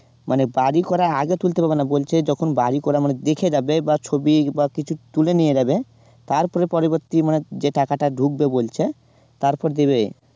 মানে বাড়ি তৈরী করার আগে তুলতে হবে মানে বলছে যখন বাড়ি করা মানে দেখে রাখবে বা ছবি বা কিছু তুলে নিয়ে যাবে তারপরে পরবর্তী মানে যে টাকাটা ঢুকবে বলছে তারপর দেবে